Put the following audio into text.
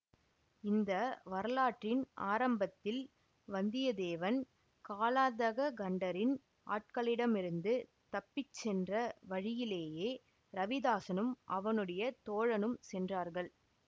இந்த வரலாற்றின் ஆரம்பத்தில் வந்தியத்தேவன் காலாந்தககண்டரின் ஆட்களிடமிருந்து தப்பி சென்ற வழியிலேயே ரவிதாஸனும் அவனுடைய தோழனும் சென்றார்கள்